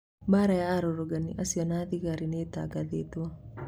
Mbara ya arũrũngani acio na thigari nĩtangathĩtwo